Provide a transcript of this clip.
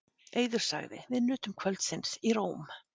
Eiður sagði: Við nutum kvöldsins í Róm.